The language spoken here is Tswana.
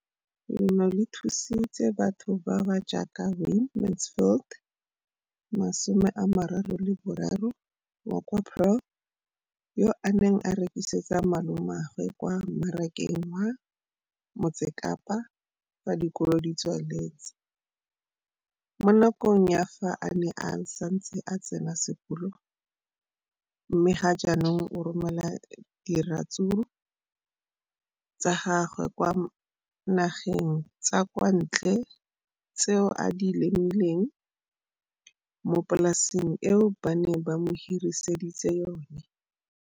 Leno le thusitse batho ba ba jaaka Wayne Mansfield, 33, wa kwa Paarl, yo a neng a rekisetsa malomagwe kwa Marakeng wa Motsekapa fa dikolo di tswaletse, mo nakong ya fa a ne a santse a tsena sekolo, mme ga jaanong o romela diratsuru tsa gagwe kwa dinageng tsa kwa ntle tseo a di lemileng mo polaseng eo ba mo hiriseditseng yona.